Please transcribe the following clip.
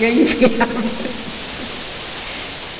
Ganhava.